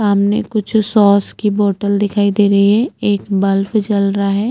सामने कुछ सॉस की बोतल दिखाई दे रही है एक बल्ब जल रहा है।